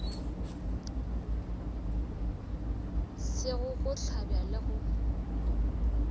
sego go hlabja le go